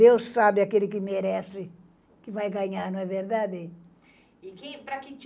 Deus sabe aquele que merece, que vai ganhar, não é verdade? E quem para que time